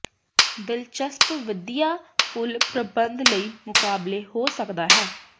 ਦਿਲਚਸਪ ਵਧੀਆ ਫੁੱਲ ਪ੍ਰਬੰਧ ਲਈ ਮੁਕਾਬਲੇ ਹੋ ਸਕਦਾ ਹੈ